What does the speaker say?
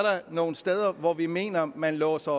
nogle steder hvor vi mener at man låser